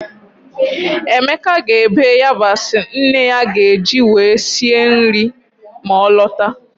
Emeka ga-ebe yabasị nne ya ga-eji were sie mri ma ọ lọta.